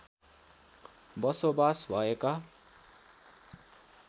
बसोबास भएका